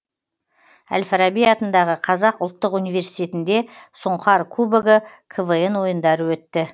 әл фараби атындағы қазақ ұлттық университетінде сұңқар кубогы квн ойындары өтті